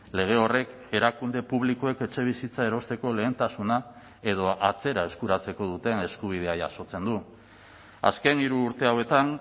lege horrek erakunde publikoek etxebizitza erosteko lehentasuna edo atzera eskuratzeko duten eskubidea jasotzen du azken hiru urte hauetan